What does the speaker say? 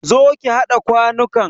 Zo ki haɗa kwanukan!